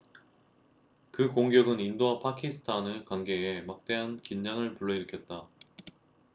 그 공격은 인도와 파키스탄의 관계에 막대한 긴장을 불러일으켰다